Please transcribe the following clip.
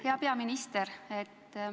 Hea peaminister!